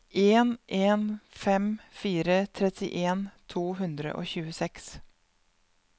en en fem fire trettien to hundre og tjueseks